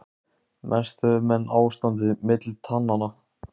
Mest höfðu menn ástandið milli tannanna.